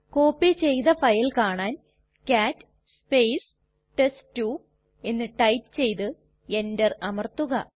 copy ചെയ്തു file കാണാൻ കാട്ട് ടെസ്റ്റ്2 എന്ന് ടൈപ്പ് ചെയ്തു എന്റർ അമർത്തുക